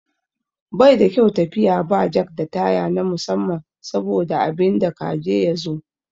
Baida kyau tafiya ba jak da taya na musamman saboda abinda ka je ya zo.